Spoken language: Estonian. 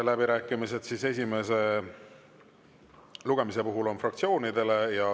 Läbirääkimised esimese lugemise puhul on fraktsioonidele.